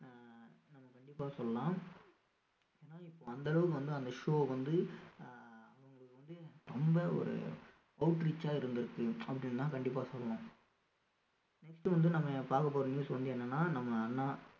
அஹ் நம்ம கண்டிப்பா சொல்லலாம் ஏன்னா இப்போ அந்த அளவுக்கு வந்து அந்த show வந்து அஹ் அவங்களுக்கு வந்து ரொம்ப ஒரு outreach ஆ இருந்திருக்கு அப்படின்னுதான் கண்டிப்பா சொல்லணும் next வந்து நம்ம பார்க்கப் போற news வந்து என்னன்னா நம்ம அண்ணா